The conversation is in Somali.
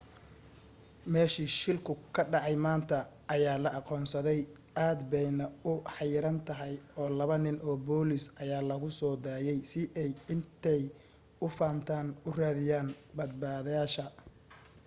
meeshii shilku ka dhacay maanta ayaa la aqoonsaday aad bayna u xayiran tahay oo laba nin oo booliis ayaa lagu soo daayay si ay intay u fantaan u raadiyaan badbaadayaasha